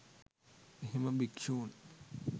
එහෙම භික්ෂූන්